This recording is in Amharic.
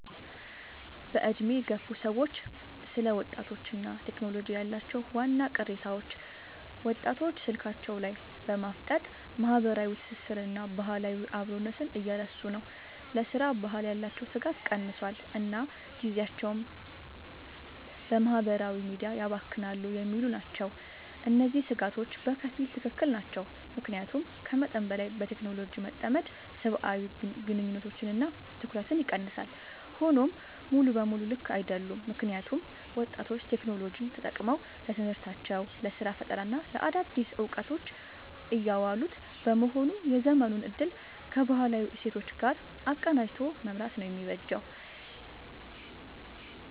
በዕድሜ የገፉ ሰዎች ስለ ወጣቶችና ቴክኖሎጂ ያላቸው ዋና ቅሬታዎች፦ ወጣቶች ስልካቸው ላይ በማፍጠጥ ማህበራዊ ትስስርንና ባህላዊ አብሮነትን እየረሱ ነው: ለሥራ ባህል ያላቸው ትጋት ቀንሷል: እና ጊዜያቸውን በማህበራዊ ሚዲያ ያባክናሉ የሚሉ ናቸው። እነዚህ ስጋቶች በከፊል ትክክል ናቸው። ምክንያቱም ከመጠን በላይ በቴክኖሎጂ መጠመድ ሰብአዊ ግንኙነቶችንና ትኩረትን ይቀንሳል። ሆኖም ሙሉ በሙሉ ልክ አይደሉም: ምክንያቱም ወጣቶች ቴክኖሎጂን ተጠቅመው ለትምህርታቸው: ለስራ ፈጠራና ለአዳዲስ እውቀቶች እያዋሉት በመሆኑ የዘመኑን እድል ከባህላዊ እሴቶች ጋር አቀናጅቶ መምራት ነው የሚበጀው።